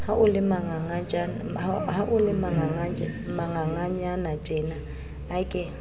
ha o le manganganyanatjena ke